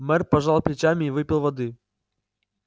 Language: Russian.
мэр пожал плечами и выпил воды